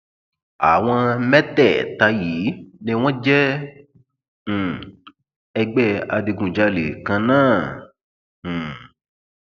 àwọn mẹtẹẹta yìí ni wọn jẹ um ẹgbẹ adigunjalè kan náà um